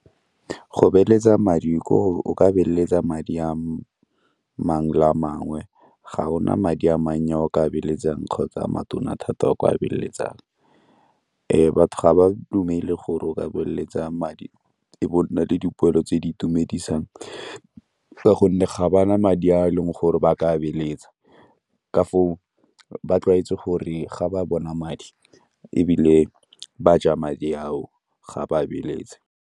Go beeletsa madi koo, o ka beeletsa madi a mangwe le a mangwe ga o na madi a mannye a o ka beeletsang kgotsa a matona thata a o ka beeletsang. Batho ga ba dumele gore o ka beeletsa madi e be o nna le dipoelo tse di itumedisang ka gonne ga ba na madi a e leng gore ba ka beeletsa, ka foo ba tlwaetse gore ga ba bona madi ebile ba ja madi ao, ga ba beeletse.